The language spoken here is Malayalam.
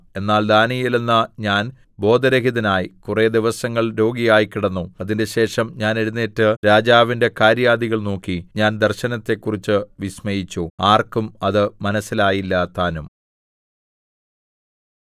എന്നാൽ ദാനീയേലെന്ന ഞാൻ ബോധരഹിതനായി കുറെ ദിവസങ്ങൾ രോഗിയായിക്കിടന്നു അതിന്‍റെശേഷം ഞാൻ എഴുന്നേറ്റ് രാജാവിന്റെ കാര്യാദികൾ നോക്കി ഞാൻ ദർശനത്തെക്കുറിച്ച് വിസ്മയിച്ചു ആർക്കും അത് മനസ്സിലായില്ലതാനും